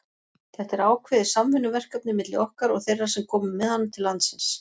Þetta er ákveðið samvinnuverkefni milli okkar og þeirra sem komu með hann til landsins.